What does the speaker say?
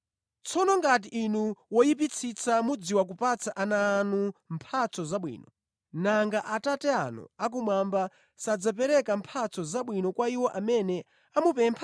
Tsono ngati inu woyipitsitsa mumadziwa kupatsa ana anu mphatso zabwino, nanga Atate anu akumwamba sadzapereka mphatso zabwino kwa iwo amene amupempha?